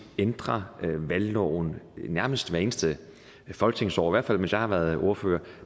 ændrer valgloven nærmest hvert eneste folketingsår i hvert fald mens jeg har været ordfører